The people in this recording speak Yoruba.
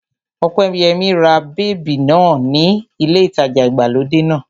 Ọpẹ́yẹmí ra bèbí náà ní ilé ìtajà ìgbàlódé náà